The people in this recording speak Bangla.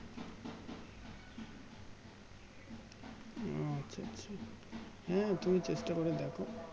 ও আচ্ছা আচ্ছা হুম তুমি চেষ্টা করে দেখো